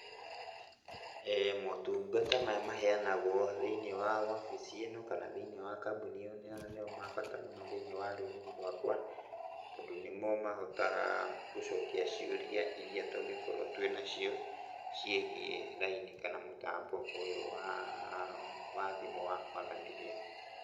Motungata maya maheanagwo thĩiniĩ wa obici ĩno kana thĩiniĩ wa kambũni ĩyo nĩo nĩo mabata mũno thĩiniĩ wa rũrĩrĩ rwakwa, tondũ nĩmo mahotaga gũcokia ciũria iria tũngĩkorwo twĩnacio, ciĩgiĩ raini kana mũtambo ũyũ waa, wa thimũ wa kwaranĩria.